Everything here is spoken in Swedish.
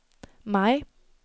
maj